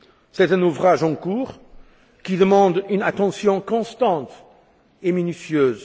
C'est un ouvrage en cours, qui demande une attention constante et minutieuse.